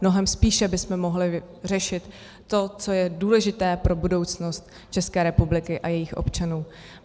Mnohem spíše bychom mohli řešit to, co je důležité pro budoucnost České republiky a jejích občanů.